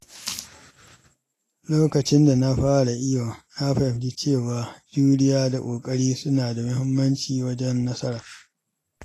Lokacin da na fara iyo, na fahimci cewa juriya da ƙoƙari suna da muhimmanci wajen nasara.